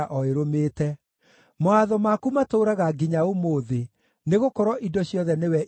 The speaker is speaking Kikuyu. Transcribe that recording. Mawatho maku matũũraga nginya ũmũthĩ, nĩgũkorwo indo ciothe nĩwe itungataga.